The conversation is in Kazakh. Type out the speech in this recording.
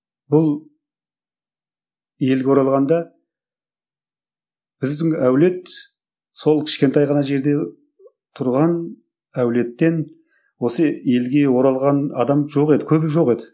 бұл елге оралғанда біздің әулет сол кішкентай ғана жерде тұрған әулеттен осы елге оралған адам жоқ еді көбі жоқ еді